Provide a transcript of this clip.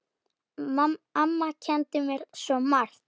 Amma kenndi mér svo margt.